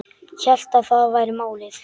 Hélt að það væri málið.